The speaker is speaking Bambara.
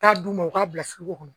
Taa d'u ma u k'a bila kɔnɔ